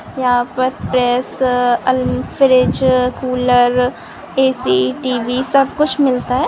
यहाँ पर प्रेस अल फ्रिज कूलर ऐ.सी. टी.वी. सबकुछ मिलता है।